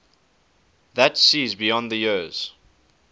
that sees beyond the years